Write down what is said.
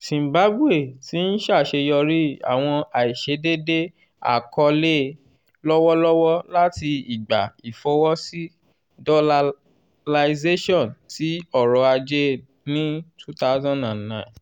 zimbabwe ti n ṣaṣeyọri awọn aiṣedede akọọlẹ lọwọlọwọ lati igba ifowosi dolalization ti ọrọ-aje ni two thousand nine.